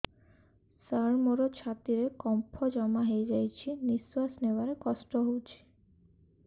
ସାର ମୋର ଛାତି ରେ କଫ ଜମା ହେଇଯାଇଛି ନିଶ୍ୱାସ ନେବାରେ କଷ୍ଟ ହଉଛି